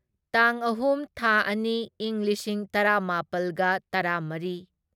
ꯇꯥꯡ ꯑꯍꯨꯝ ꯊꯥ ꯑꯅꯤ ꯢꯪ ꯂꯤꯁꯤꯡ ꯇꯔꯥꯃꯥꯄꯜꯒ ꯇꯔꯥꯃꯔꯤ